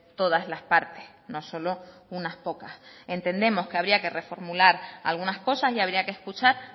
todas las partes no solo unas pocas entendemos que habría que reformular algunas cosas y habría que escuchar